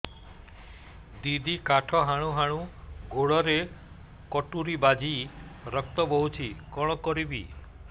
ଦିଦି କାଠ ହାଣୁ ହାଣୁ ଗୋଡରେ କଟୁରୀ ବାଜି ରକ୍ତ ବୋହୁଛି କଣ କରିବି